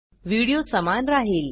video समान राहील